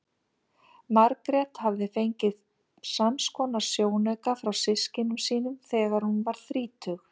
Margrét hafði reyndar fengið samskonar sjónauka frá systkinum sínum þegar hún varð þrítug.